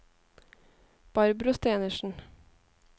Barbro Stenersen